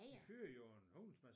De fyrede jo en hulens masse